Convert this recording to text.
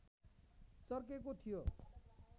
चर्केको थियो